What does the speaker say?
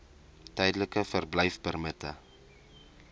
tydelike verblyfpermitte